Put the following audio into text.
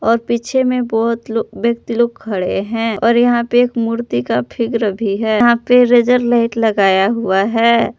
और पीछे में बहोत लो व्यक्ति लोग खड़े हैं और यहां पे एक मूर्ति का फिगर भी है यहां पे लेजर लाइट लगाया हुआ है।